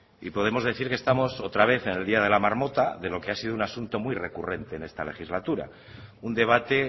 y podremos decir que estamos otra vez en el día de la marmota de lo que ha sido un asunto muy recurrente en esta legislatura un debate